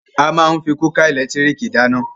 A máa ń fí kúkà ẹ̀lẹ́tírìkì dáná.